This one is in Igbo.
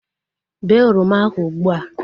Bee oroma ahu ụgbụa!